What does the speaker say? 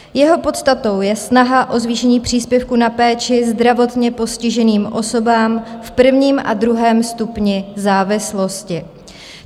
Jeho podstatou je snaha o zvýšení příspěvku na péči zdravotně postiženým osobám v prvním a druhém stupni závislosti.